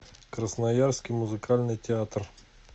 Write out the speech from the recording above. красноярский музыкальный театр